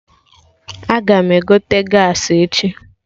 Aga m egote gaasị echi